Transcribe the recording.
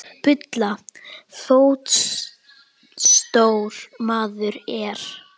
Bulla fótstór maður er.